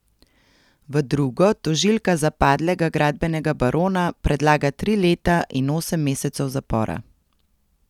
V drugo tožilka za padlega gradbenega barona predlaga tri leta in osem mesecev zapora.